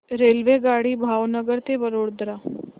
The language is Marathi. रेल्वेगाडी भावनगर ते वडोदरा